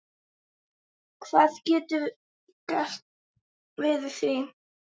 Hvað geturðu gert við því?